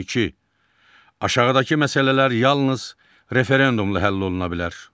İki, aşağıdakı məsələlər yalnız referendumla həll oluna bilər.